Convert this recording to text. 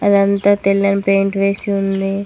అదంతా తెల్లని పెయింట్ వేసి ఉంది.